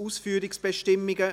9. Ausführungsbestimmungen